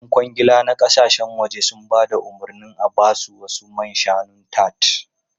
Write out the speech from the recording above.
Yan kwangila na kasashen waje sun ba da umarnin a ba su wasu man shanun tart.